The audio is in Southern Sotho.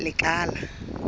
lekala